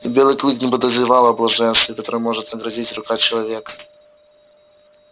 и белый клык не подозревал о том блаженстве которым может наградить рука человека